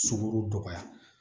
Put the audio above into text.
Sunkuru dɔgɔya